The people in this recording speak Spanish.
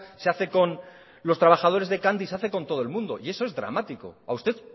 se hace con los trabajadores de candy y se hace con todo el mundo y eso es dramático a usted